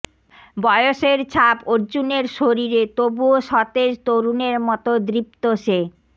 বয়েসের ছাপ অর্জুনের শরীরে তবুও সতেজ তরুণের মত দৃপ্ত সে